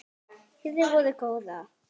hirði vorum góða